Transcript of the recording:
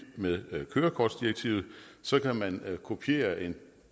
med kørekortdirektivet så kan man kopiere en